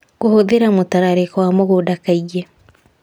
Kũhũthĩra mũtararĩko wa mũgũnda kaingĩ